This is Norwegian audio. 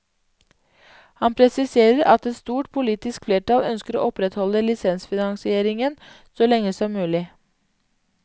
Han presiserer at et stort politisk flertall ønsker å opprettholde lisensfinansieringen så lenge som mulig.